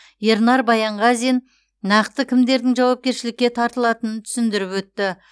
ернар баянғазин нақты кімдердің жауапкершілікке тартылатынын түсіндіріп өтті